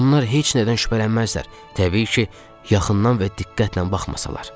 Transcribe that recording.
Onlar heç nədən şübhələnməzlər, təbii ki, yaxından və diqqətlə baxmasalar.